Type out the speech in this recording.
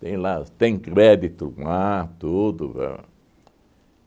Tem lá os tem crédito lá, tudo ãh